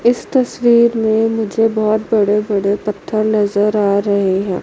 इस तस्वीर में मुझे बहुत बड़े बड़े पत्थर नजर आ रहे है।